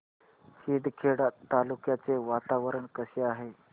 शिंदखेडा तालुक्याचे वातावरण कसे आहे